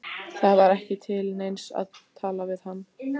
Það var ekki til neins að tala við hann.